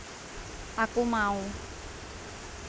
Aku Mau